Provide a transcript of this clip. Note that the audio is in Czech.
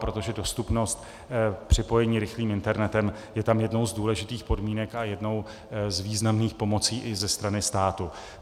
Protože dostupnost připojení rychlým internetem je tam jednou z důležitých podmínek a jednou z významných pomocí i ze strany státu.